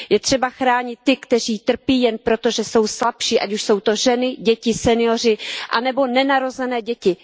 Je třeba chránit ty, kteří trpí jen proto, že jsou slabší, ať už jsou to ženy, děti, senioři nebo nenarozené děti.